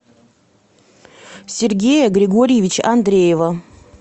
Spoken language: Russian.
сергея григорьевича андреева